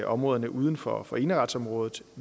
områderne uden for for eneretsområdet